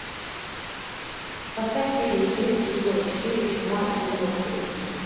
поставь серию шесть сезона четыре чума девяностые